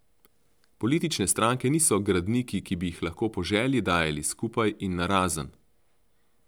Politične stranke niso gradniki, ki bi jih lahko po želji dajali skupaj in narazen.